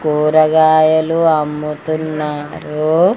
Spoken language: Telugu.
కూరగాయలు అమ్ముతున్నారూ.